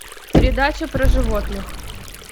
передача про животных